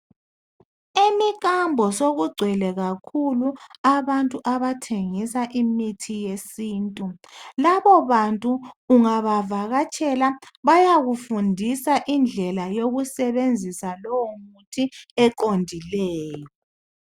Emikambo sokugcwele kakhulu abantu abathengisa imithi yesintu. Labo bantu ungabavakatshela bayakufundisa indlela yokusebenzisa lowo muthi eqondileyo.